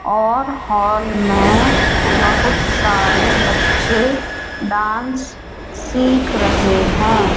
और हॉल में बहुत सारे बच्चे डांस सीख रहे हैं।